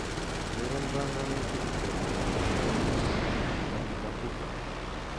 Ureren banganutikab keureren nenyu eng Kapuka